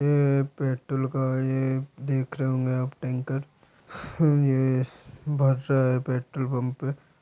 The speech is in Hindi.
ये पेट्रोल का ये देख रहे होंगे आप टैंकर ये भर रहा है पेट्रोल पंप पे--